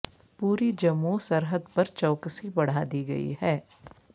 پوری جموں سرحد پر چوکسی بڑھا دی گئی ہے